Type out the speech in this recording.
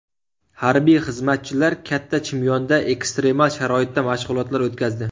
Harbiy xizmatchilar Katta Chimyonda ekstremal sharoitda mashg‘ulotlar o‘tkazdi .